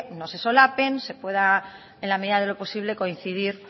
no se solapen se pueda en la medida de lo posible coincidir